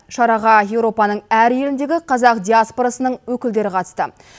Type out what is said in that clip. шараға еуропаның әр еліндегі қазақ диаспорасының өкілдері қатысты